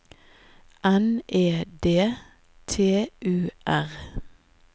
N E D T U R